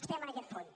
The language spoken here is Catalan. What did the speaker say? estem en aquest punt